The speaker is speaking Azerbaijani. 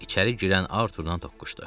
və içəri girən Arturlan toqquşdu.